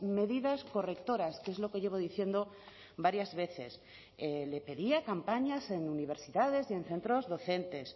medidas correctoras que es lo que llevo diciendo varias veces le pedía campañas en universidades y en centros docentes